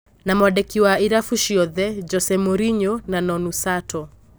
Na-mwandĩki wa irabu ciothe - Jose Morinyo na Nonu Sato.